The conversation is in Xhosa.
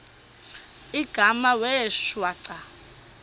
igama wee shwaca